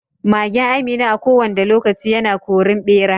Magen Amina a ko wanda lokaci yana korin ɓera.